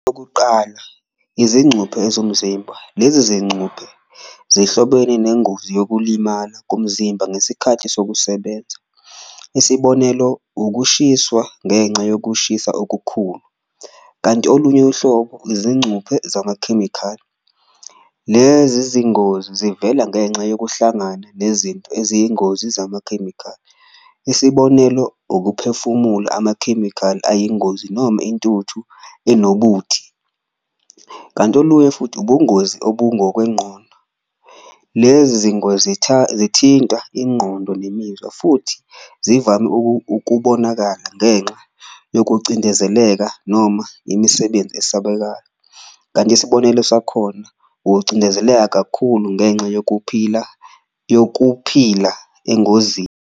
Izincuphe ezomzimba, lezi zincuphe zihlobene nengozi yokulimala komzimba ngesikhathi sokusebenza, isibonelo ukushiswa ngenxa yokushisa okukhulu. Kanti olunye uhlobo izincuphe zamakhemikhali, lezi zingozi zivela ngenxa yokuhlangana nezinto eziyingozi zamakhemikhali, isibonelo ukuphefumula amakhemikhali ayingozi noma intuthu enobuthi. Kanti olunye futhi ubungozi obungokwenqondo, lezi zingozi zithinta inqondo nemizwa futhi zivame ukubonakala ngenxa yokucindezeleka noma imisebenzi esabekayo, kanti isibonelo sakhona ukucindezeleka kakhulu ngenxa yokuphila yokuphila engozini.